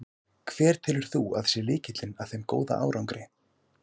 Hver telur þú að sé lykillinn að þeim góða árangri?